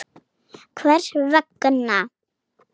Hvers vegna?